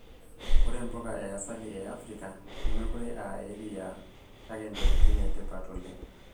Ore mpuka yaasili e Afrika nemeekure aa eriaa kake ntokitin e tipat oleng'.